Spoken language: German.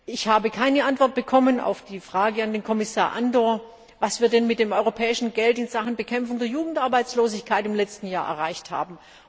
Ich habe keine Antwort bekommen auf die Frage an den Kommissar Andor, was wir denn mit dem europäischen Geld in Sachen Bekämpfung der Jugendarbeitslosigkeit im letzten Jahr erreicht haben.